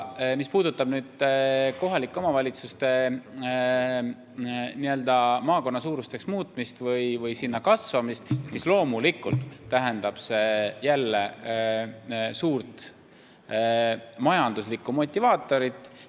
Mis puudutab kohalike omavalitsuste n-ö maakonnasuuruseks muutmist või selleni kasvamist, siis loomulikult tähendab see jälle suurt majanduslikku motivaatorit.